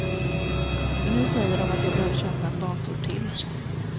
Så nu säger dom att jag behöver köpa en dator till.